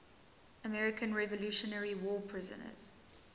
american revolutionary war prisoners